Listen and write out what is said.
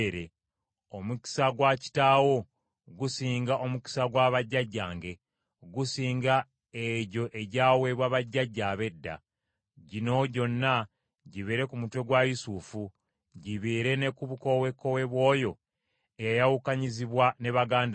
Omukisa gwa kitaawo gusinga omukisa gwa bajjajjange, gusinga egyo egyaweebwa bajjajja ab’edda. Gino gyonna gibeere ku mutwe gwa Yusufu, gibeere ne ku bukowekowe bw’oyo eyayawukanyizibwa ne baganda be.